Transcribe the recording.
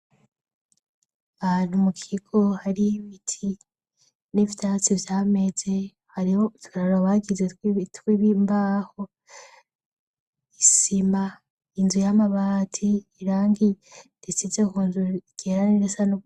Ahantu mu kigo hari ibiti n'ivyatsi vyameze hariho uturaro bagize twimbaho isima inzu y'amabati irangi risize kunzu ryera nirisa nubururu.